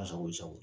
A sago sago